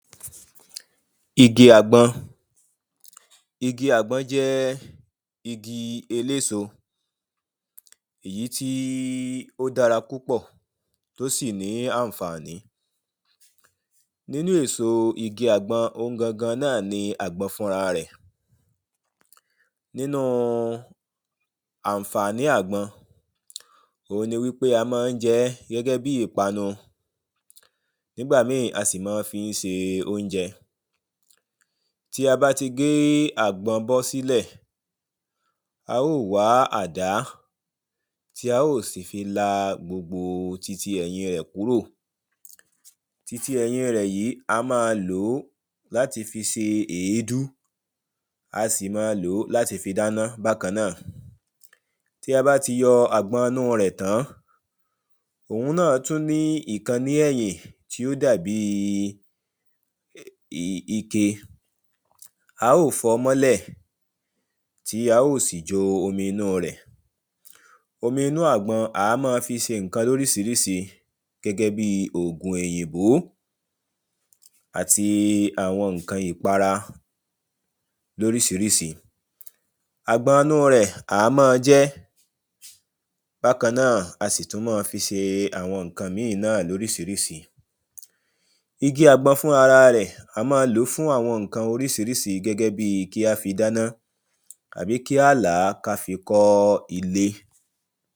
Igi àgbọn Igi àgbọn jẹ́ igi eléso èyí tí ó dára púpọ̀ tó sì ní àǹfààní. Nínú èso igi àgbọn òun gangan náà ni àgbọn fúnra rẹ̀ Nínu àǹfààní àgbọn, òun ni wípé a máá ń jẹ ẹ́ gẹ́gẹ́ bí ìpanu. Nígbà míì, a sì mọ́ fí ń se óúnjẹ Tí a bá ti gé àgbọn bọ́ sílẹ̀, a ó wá á àdá tí a ó sì fi la gbogbo titi èyin rẹ̀ kúrò. Titi ẹ̀yin rẹ̀ yìí a máa lò ó láti fi se èédú dáná bákan náà Tí a bá ti yọ àgbọn inú rẹ tàn-án, òun náà tún ní ẹ̀yìn tí ó dà bí ike, a ó fọ mọ́lẹ̀ tí a ó sì jọ omi inu rẹ̀ Omi inú àgbọn, a mọ́ ń fi se ǹǹkan lórísiríísi gẹ́gẹ́ bi òògun èyìnbó àti àwọn ǹǹkan ìpara lórísiríísi Àgbọn inu rẹ̀, à á mọ́ jẹ ẹ́. Bákan náà, a sì tún máa fi ṣe àwọn ǹǹkan míì náà lórísiríísi. Igi àgbọn fúnrara rẹ̀, a máa lò fún àwọn ǹǹkan orísiríísi gẹ́gẹ́ bi kí á là á ká fi kó ilé